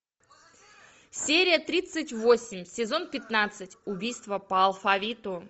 серия тридцать восемь сезон пятнадцать убийства по алфавиту